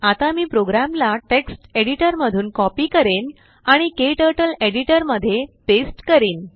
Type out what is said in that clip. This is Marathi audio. आता मी प्रोग्रामला टेक्स्ट एडिटरमधून कॉपी करेन आणिKTurtleएडिटरमध्ये पेस्ट करीन